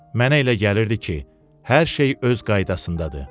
Mənə elə gəlirdi ki, hər şey öz qaydasındadır.